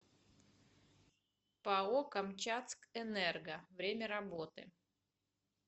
пао камчатскэнерго время работы